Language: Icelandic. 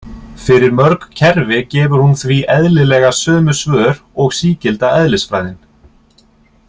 Fyrir mörg kerfi gefur hún því eðlilega sömu svör og sígilda eðlisfræðin.